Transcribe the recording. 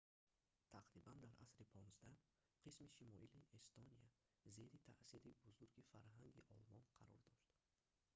тақрибан дар асри 15 қисми шимолии эстония зери таъсири бузурги фарҳанги олмон қарор дошт